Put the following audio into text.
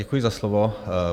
Děkuji za slovo.